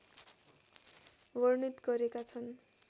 वर्णित गरेका छन्